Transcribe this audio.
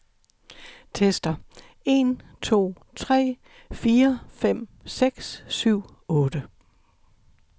Tester en to tre fire fem seks syv otte.